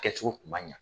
Kɛcogo kun ma ɲa